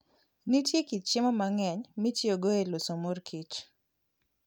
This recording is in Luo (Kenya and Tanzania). Nitie kit chiemo mang'eny mitiyogo e loso mor kich.